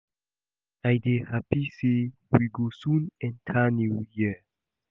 I dey happy say we go soon enter new year